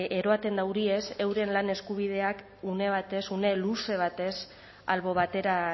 eroaten dauriez euren lan eskubideak une batez une luze batez albo batera